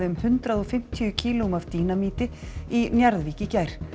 um hundrað og fimmtíu kílóum af dínamíti í Njarðvík í gær